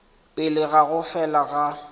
pele ga go fela ga